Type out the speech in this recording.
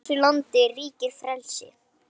Í þessu landi ríkir frelsi!